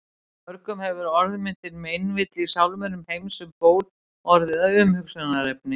Mörgum hefur orðmyndin meinvill í sálminum Heims um ból orðið að umhugsunarefni.